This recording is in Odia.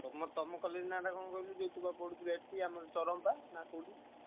ତମ ତମ college ନାଁ ଟା କଣ କହିଲୁ ଯୋଉ ତୁ ଆମର ପଢୁଥିଲୁ ଏଠି ଯୋଉ ଚରଣପା ନାଁ କୋଉଠି?